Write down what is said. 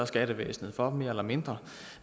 skattevæsenet for mere eller mindre